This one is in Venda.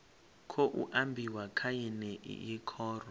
khou ambiwa kha yeneyi khoro